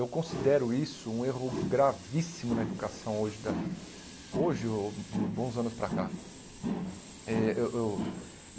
Eu considero isso um erro gravíssimo na educação hoje da hoje o, de uns bons anos para cá. Eh eu